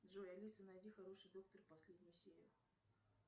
джой алиса найди хороший доктор последнюю серию